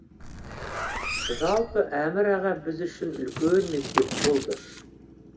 жалпы әмір аға біз үшін үлкен мектеп болды